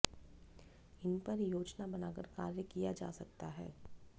इन पर योजना बनाकर कार्य किया जा सकता है